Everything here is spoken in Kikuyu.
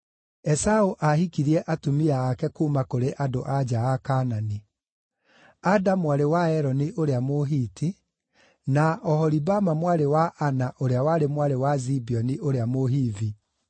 Esaũ ahikirie atumia ake kuuma kũrĩ andũ-a-nja a Kaanani: Ada aarĩ mwarĩ wa Eloni ũrĩa Mũhiti, na Oholibama mwarĩ wa Ana ũrĩa warĩ mwarĩ wa Zibeoni ũrĩa Mũhivi,